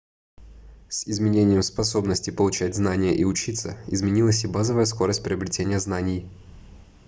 с изменением способности получать знания и учиться изменилась и базовая скорость приобретения знаний